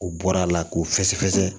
U bɔra a la k'u fɛsɛ fɛsɛ